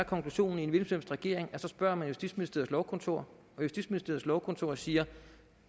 konklusionen i en hvilken regering at så spørger man justitsministeriets lovkontor og justitsministeriets lovkontor siger